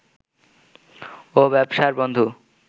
ও ব্যবসার বন্ধু